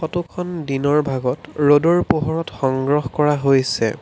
Photo খন দিনৰ ভাগত ৰ'দৰ পোহৰত সংগ্ৰহ কৰা হৈছে।